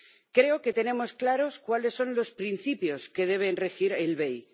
Creo que tenemos claros cuáles son los principios que deben regir el BEI.